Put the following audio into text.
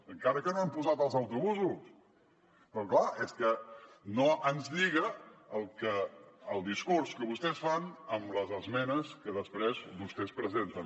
encara com no han posat els autobusos però clar és que no ens lliga el discurs que vostès fan amb les esmenes que després vostès presenten